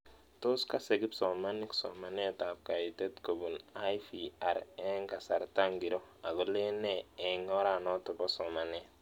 Tos kase kipsomanik somanet ab kaitet kopun IVR eng' kasarta ng'iro ako len nee eng' oranotok po somanet